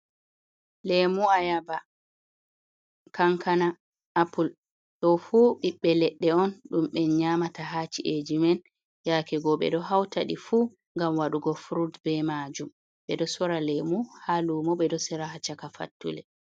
Lemu ayaba, kankana, apul. ɗo fu ɓiɓɓe ledde on ɗum be nyamata ha ci’eji men yake go ɓeɗo hautaɗi fu ngam waɗugo furut be majum, ɓeɗo sora lemu ha lumo ɓeɗo sora ha caka fattule.